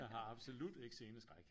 Jeg har absolut ikke sceneskræk